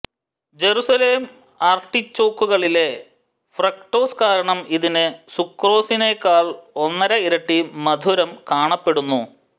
Jerusalem ആർട്ടിചോക്കുകളിലെ fructose കാരണം ഇതിന് സുക്രോസിനെക്കാൾ ഒന്നര ഇരട്ടി മധുരം കാണപ്പെടുന്നു